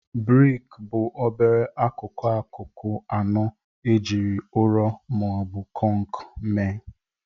Briki bụ obere akụkụ akụkụ anọ ejiri ụrọ ma ọ bụ kọnk mee.